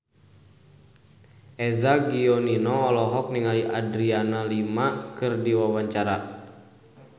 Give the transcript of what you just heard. Eza Gionino olohok ningali Adriana Lima keur diwawancara